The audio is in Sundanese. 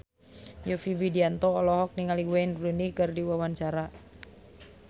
Yovie Widianto olohok ningali Wayne Rooney keur diwawancara